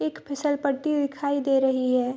एक फिसलपट्टी दिखाई दे रही है।